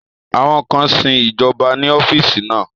Àwọn kan sin ìjọba ní ọ́fíìsì náà